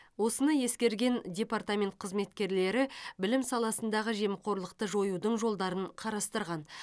осыны ескерген департамент қызметкерлері білім саласындағы жемқорлықты жоюдың жолдарын қарастырған